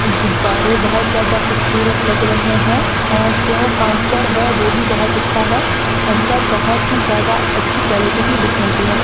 गुब्बारे बहोत ज्यादा खूबसूरत लग रहे है और जो काउंटर है वो भी बहोत अच्छा है अंदर बहोत ही ज्यादा अच्छी क्वालिटी की बुक मिलती है।